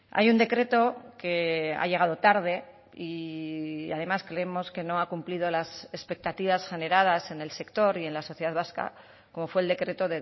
hay un decreto que ha llegado tarde y además creemos que no ha cumplido las expectativas generadas en el sector y en la sociedad vasca como fue el decreto